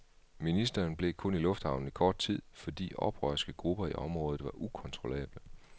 Ministeren blev kun i lufthavnen i kort tid, fordi oprørske grupper i området var ukontrollable.